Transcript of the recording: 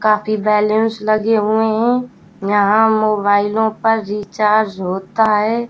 काफी बैल्यून्स लगे हुएं हैं। यहाँ मोबाइलों पर रिचार्ज होता है।